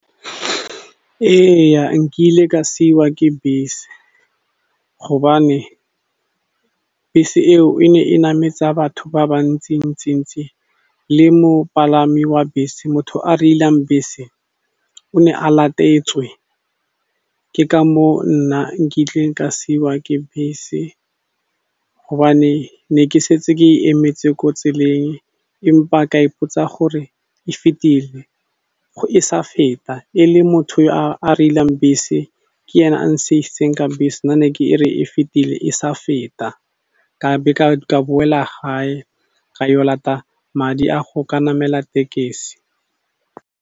Eya, nkile ka siwa ke bese hobane bese eo e ne e nametsa batho ba bantsi-ntsi ntsi le mopalami wa bese motho a reilang bese o ne a latetswe ke ka moo nna nkile ka siwa ke bese hobane ne ke setse ke e emetse ko tseleng empa ka ipotsa gore e fetile e sa feta, e le motho yo a reilang bese ke ene a nsiisitseng ka bese nna ne ke re e fetile e sa feta ka be ka boela gae ka yo lata madi a go ka namela tekesi.